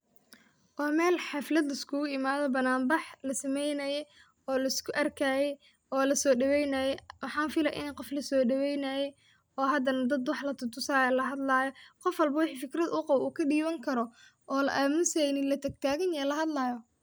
Waa Mel xaflad liskugu imade banan bax lasameeynayee oo lisku arkaye oo lasodhoweynaye waxan fili ini qof lasodhoweynaye oo hadana dad wax latutusi hayo oo la hadlaayo qof walbo wixi fikrad uu qabo uu kadhiwan karo oo la amuseynin latagtagan lahadlayo